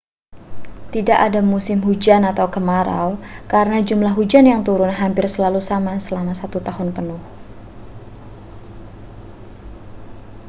tidak ada musim hujan atau kemarau karena jumlah hujan yang turun hampir selalu sama selama satu tahun penuh